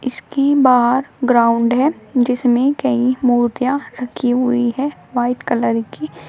इसके बाहर ग्राउंड है जिसमें कई मूर्तियां रखी हुई हैं व्हाइट कलर की।